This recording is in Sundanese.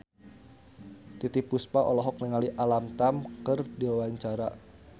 Titiek Puspa olohok ningali Alam Tam keur diwawancara